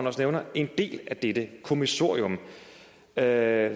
også nævner en del af dette kommissorium der